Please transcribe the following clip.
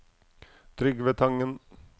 Trygve Tangen